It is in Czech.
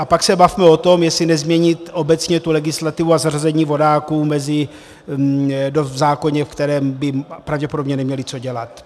A pak se bavme o tom, jestli nezměnit obecně tu legislativu a zařazení vodáků v zákoně, v kterém by pravděpodobně neměli co dělat.